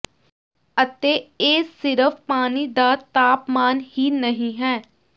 ਅਤੇ ਇਹ ਸਿਰਫ ਪਾਣੀ ਦਾ ਤਾਪਮਾਨ ਹੀ ਨਹੀਂ ਹੈ